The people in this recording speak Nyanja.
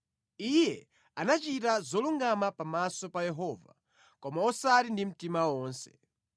Iye anachita zolungama pamaso pa Yehova, koma osati ndi mtima wonse.